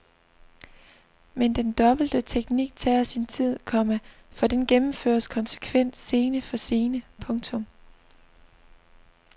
Men den dobbelte teknik tager sin tid, komma for den gennemføres konsekvent scene for scene. punktum